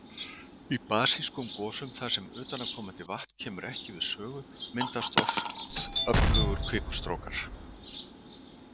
Í basískum gosum þar sem utanaðkomandi vatn kemur ekki við sögu, myndast oft öflugir kvikustrókar.